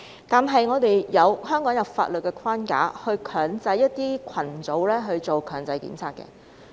但是，香港有法律框架強制一些群組進行檢測。